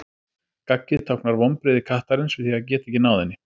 gaggið táknar vonbrigði kattarins við því að geta ekki náð henni